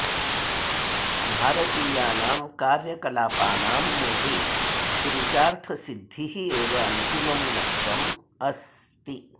भारतीयानां कार्यकलापानां मूले पुरुषार्थसिध्दिः एव अन्तिमं लक्ष्यम् अस्ति